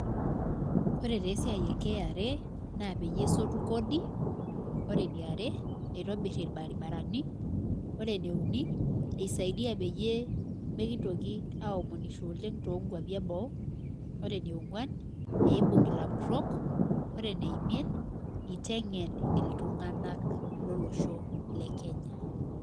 Ore taa esiai e kra, naa peyie esotu kosi, ore eniare, isaidia peyie mikintoki aomonusho oleng, too nkuapi eboo. ore enionguan eibung' ilapurol. ore eneimiet itengen iltunganak lolosho le Kenya.